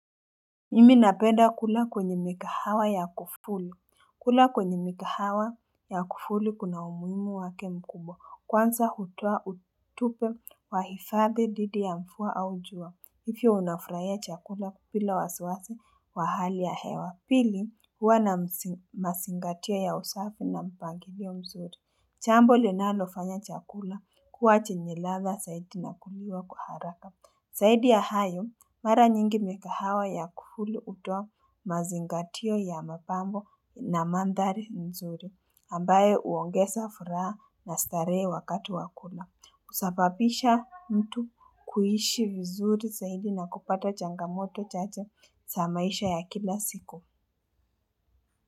Mimi napenda kula kwenye mikahawa ya kufuli. Kula kwenye migahawa ya kufuli kuna umuhimu wake mkubwa. Kwanza hututupa wa hifadhi dhidi ya mvua au jua. Hivyo unafurahia chakula bila wasiwasi wa hali ya hewa. Pili huwa na mazingatia ya usafi na mpangilio mzuri. Jambo linalofanya chakula kuwa chenye ladha zaidi na kuliwa kwa haraka. Zaidi ya hayo mara nyingi migahawa ya kufuli hutua mazingatio ya mapambo na mandhari nzuri. Ambayo huongeza furaha na starehe wakati wa kula. Husababisha mtu kuishi vizuri zaidi na kupata changamoto chacha za maisha ya kila siku.